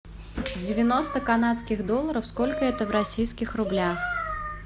девяносто канадских долларов сколько это в российских рублях